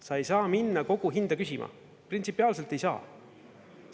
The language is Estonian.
Sa ei saa minna koguhinda küsima, printsipiaalselt ei saa.